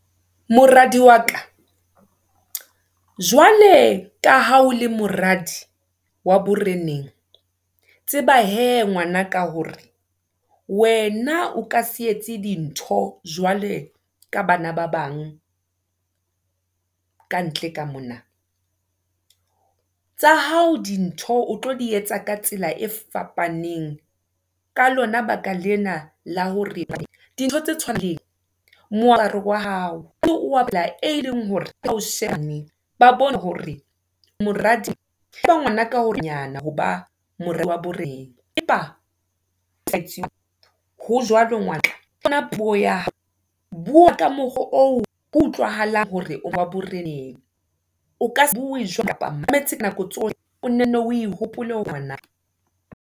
Moradi wa ka, jwale ka ha o le moradi wa boreneng, tseba hee ngwana ka hore, wena o ka se etse dintho, jwale ka bana ba bang, ka ntle ka mona. Tsa hao dintho, o tlo di etsa ka tsela e fapaneng, ka lona lebaka lena, la hore dintho tse tshwanang, le wa hao, eo e leng hore ka ba bone hore o moradi ho ba moradi wa morena. Empa ho jwalo puo ya hao, bua ka mokgwa oo ho utlwahale hore o wa boreneng, o kase bue kapa mametse ka nako o nenne o hopole hore ngwana.